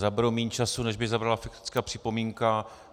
Zaberu méně času, než by zabrala faktická připomínka.